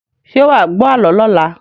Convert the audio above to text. Ṣé wà wá gbọ àlọ́ lọla?